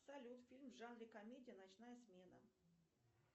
салют фильм в жанре комедия ночная смена